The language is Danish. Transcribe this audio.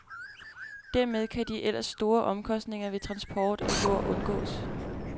Dermed kan de ellers store omkostninger ved transport af jord undgås.